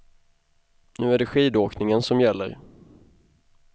Nu är det skidåkningen som gäller.